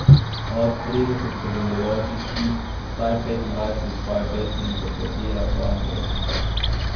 Od trideset sodelujočih jih vsaj petindvajset svoje pesmi interpretira v angleščini.